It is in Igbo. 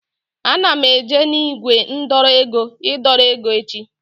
Ana m eje na ígwè ndọrọ ego idọrọ ego echi